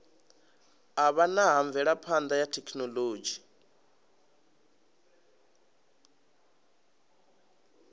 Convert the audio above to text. avhanya ha mvelaphana ya thekhinolodzhi